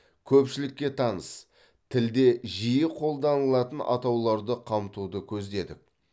көпшілікке таныс тілде жиі қолданылатын атауларды қамтуды көздедік